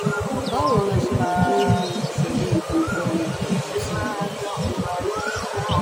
báwo la ṣe lè borí ìṣòro ìdàpọ̀ àtọ̀ àti ìtọ̀?